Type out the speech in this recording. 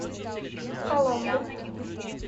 коломбу